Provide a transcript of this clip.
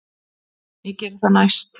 Ég geri það næst.